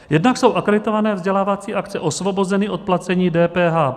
Jednak jsou akreditované vzdělávací akce osvobozeny od placení DPH.